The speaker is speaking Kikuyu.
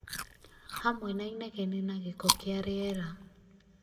hamwe na inegene na gĩko kĩa rĩera